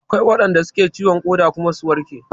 Akwai waɗanda suka yi ciwon ƙoda kuma suka warke